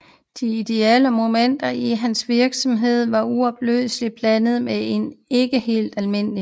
De ideelle Momenter i hans Virksomhed var uopløselig blandede med en ikke helt alm